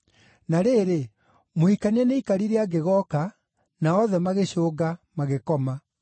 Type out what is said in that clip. Na rĩrĩ, Mũhikania nĩaikarire angĩgooka, na othe magĩcũnga, magĩkoma.